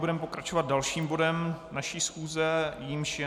Budeme pokračovat dalším bodem naší schůze, jímž je